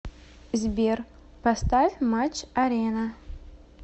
сбер поставь матч арена